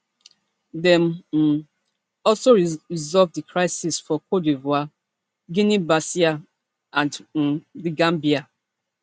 dem um also help resolve di crises for cte divoire guineabissau and um the gambia